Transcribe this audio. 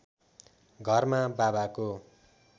घरमा बाबाको